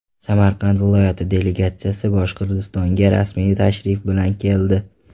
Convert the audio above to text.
Samarqand viloyati delegatsiyasi Boshqirdistonga rasmiy tashrif bilan keldi.